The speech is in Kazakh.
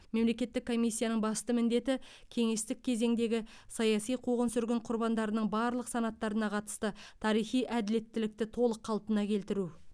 мемлекеттік комиссияның басты міндеті кеңестік кезеңдегі саяси қуғын сүргін құрбандарының барлық санаттарына қатысты тарихи әділеттілікті толық қалпына келтіру